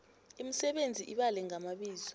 imisebenzi ibale ngamabizo